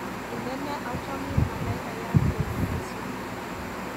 Indene achamin malaikayat koek neisupi